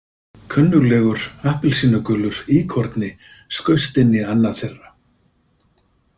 Kunnuglegur appelsínugulur íkorni skaust inn í annað þeirra.